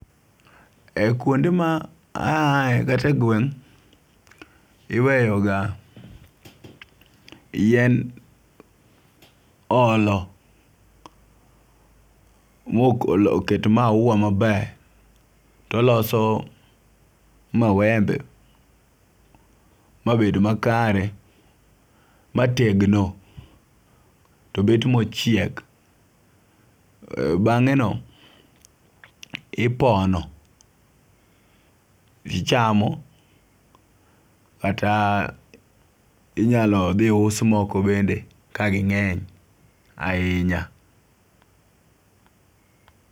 E kuonde ma aae kata e gweng' , iweyo ga yien olo mok oket maua maber toloso mawembe mabed makare mategno, to bet mochiek .Bang'e no ipono jii chamo kata inyalo dhi us moko bende ka ginge'ny ahinya.